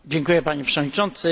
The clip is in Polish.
Panie Przewodniczący!